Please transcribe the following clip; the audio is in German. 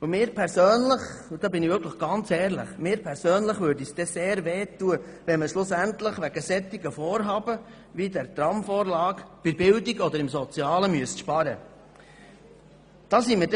Mir persönlich würde es sehr wehtun – und ich bin diesbezüglich ganz ehrlich –, wenn man schlussendlich wegen solcher Vorhaben wie dieser Tramvorlage bei der Bildung oder im sozialen Bereich sparen müsste.